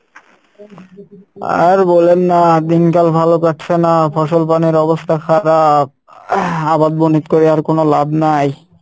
আর বোলেন না দিনকাল ভালো কাটছে না ফসল বনের অবস্থা খারাপ ing আবাদ বনিত করে আর কোনো লাব নাই।